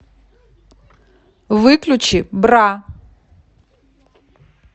выключи бра